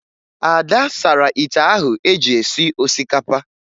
Ada sara ite ahụ eji esi osikapa